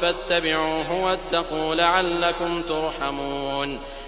فَاتَّبِعُوهُ وَاتَّقُوا لَعَلَّكُمْ تُرْحَمُونَ